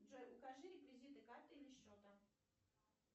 джой укажи реквизиты карты или счета